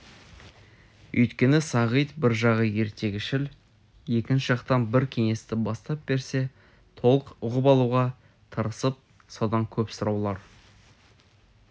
өйткені сағит бір жағы ертегішіл екінші жақтан бір кеңесті бастап берсе толық ұғып алуға тырысып содан көп сұраулар